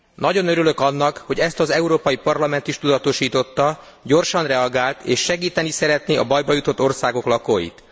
Nagyon örülök annak, hogy ezt az Európai Parlament is tudatosította, gyorsan reagált és segíteni szeretné a bajba jutott országok lakóit.